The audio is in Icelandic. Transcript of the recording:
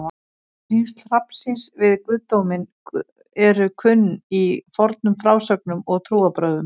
Tengsl hrafnsins við guðdóminn eru kunn í fornum frásögnum og trúarbrögðum.